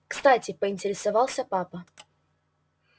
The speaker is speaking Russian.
кстати поинтересовался папа